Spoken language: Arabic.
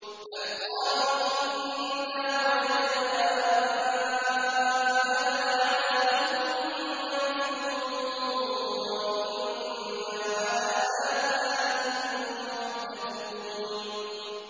بَلْ قَالُوا إِنَّا وَجَدْنَا آبَاءَنَا عَلَىٰ أُمَّةٍ وَإِنَّا عَلَىٰ آثَارِهِم مُّهْتَدُونَ